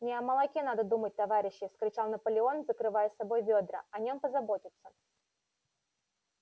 не о молоке надо думать товарищи вскричал наполеон закрывая собой ведра о нём позаботятся